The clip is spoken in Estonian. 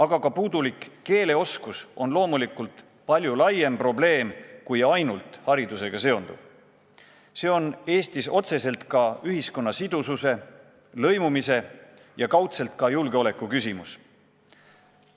Aga puudulik keeleoskus on loomulikult palju laiem probleem kui ainult haridusega seonduv, see on Eestis otseselt ka ühiskonna sidususe, lõimumise ja kaudselt julgeoleku küsimus.